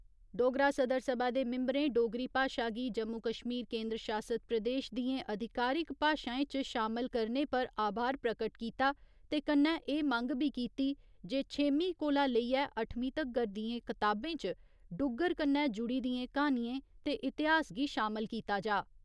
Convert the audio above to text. डोगरा सदर सभा दे मिम्ब'रें डोगरी भाशा गी जम्मू कश्मीर केंद्र शासत प्रदेश दियें अधिकारिक भाशाएं च शामल करने पर आभार प्रगट कीता ते कन्नै एह् मंग बी कीती जे छेमीं कोला लेइयै अट्ठमीं तगर दियें कताबें च डुग्गर कन्नै जुड़ी दियें कहानियें ते इतिहास गी शामल कीता जा।